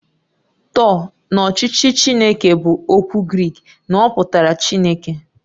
"Theo"" na ọchịchị Chineke bụ okwu Grik na ọ pụtara Chineke"